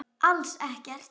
Alls ekkert.